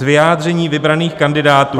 Z vyjádření vybraných kandidátů -"